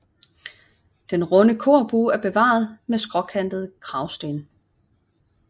Den runde korbue er bevaret med skråkantede kragsten